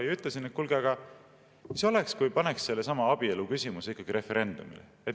Ma ütlesin, et kuulge, mis oleks, kui paneks sellesama abieluküsimuse referendumile.